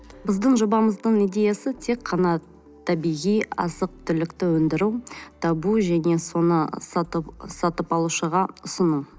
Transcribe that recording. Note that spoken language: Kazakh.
біздің жобамыздың идеясы тек қана табиғи азық түлікті өндіру табу және соны сатып алушыға ұсыну